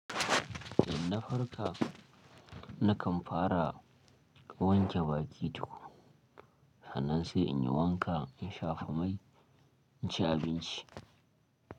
Idan na farka, nakan fara wanke bakin tuƙu, hannun sai in yi wanka in shafa mai in ci abinci.